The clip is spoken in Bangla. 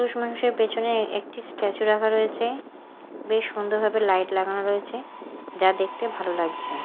পুরুষমানুষের পেছনে একটি স্ট্যাচু রাখা রয়েছে বেশ সুন্দরভাবে লাইট লাগানো রয়েছে যা দেখতে ভালো লাগছে।